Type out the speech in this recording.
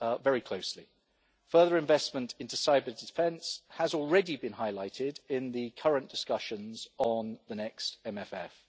very closely. Further investment in cyber-defence has already been highlighted in the current discussions on the next MFF.